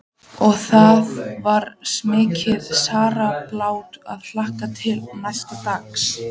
Og það var mikil sárabót að hlakka til næsta dags.